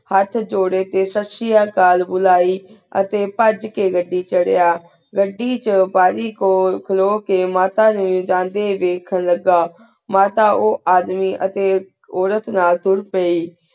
ਹੇਠ ਜੋਰੀ ਟੀ ਸਸ੍ਰੇਯਾ ਕਾਲ ਬੁਲਾਈ ਅਤੀ ਪਝ ਕੀ ਘੜੀ ਚਾਰਇਆ ਘੜੀ ਚੁਣ ਬਾਰੀ ਕੁਲ ਖਲੁ ਕੀ ਮਾਤਾ ਨੂ ਬਾਰੀ ਤੂੰ ਵੇਖਣ ਲੇਘਾ ਮਤਾ ਉਆਦ੍ਮੀ ਅਤੀ ਉਰੇਟ ਨਾਲ ਤੁਰ ਪੈ